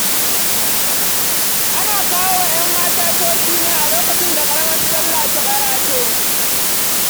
Ana kawo wa 'yan mata toshi ne a lokacin da ƙaramar sallah ta ƙarato.